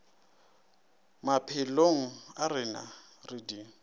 maphelong a rena re di